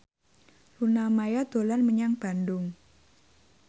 Luna Maya dolan menyang Bandung